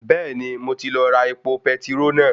Bẹ́ẹ̀ni mo ti lọ ra epo petiró náà